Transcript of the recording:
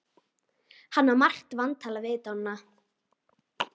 Hann á margt vantalað við Dodda.